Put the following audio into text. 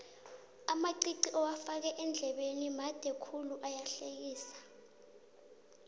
amaqiqi owafake eendlebeni made khulu ayahlekisa